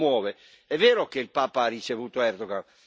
Donne e bambini, l'Alto rappresentante non si commuove.